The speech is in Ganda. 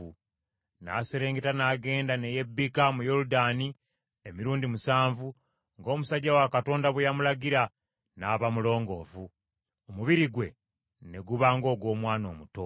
N’aserengeta n’agenda ne yebbika mu Yoludaani emirundi musanvu, ng’omusajja wa Katonda bwe yamulagira, n’aba mulongoofu, omubiri gwe ne guba ng’ogw’omwana omuto.